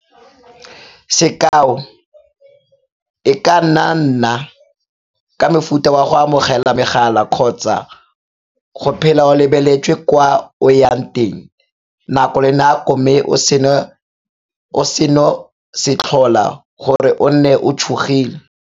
Sekao, e ka nna ka mofuta wa go amogela megala kgotsa go phela o lebeletswe kwa o ya teng nako le nako mme seno se tlhola gore o nne o tshogile.